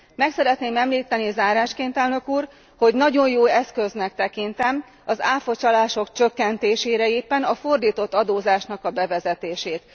Meg szeretném említeni zárásként, elnök úr, hogy nagyon jó eszköznek tekintem az ÁFA csalások csökkentésére éppen a fordított adózásnak a bevezetését.